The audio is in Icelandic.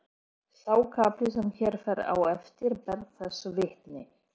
Sá kafli sem hér fer á eftir ber þessu vitni